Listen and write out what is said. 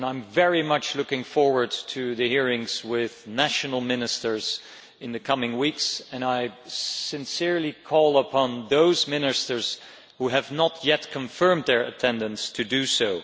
I am very much looking forward to the hearings with national ministers in the coming weeks, and I sincerely call upon those ministers who have not yet confirmed their attendance to do so.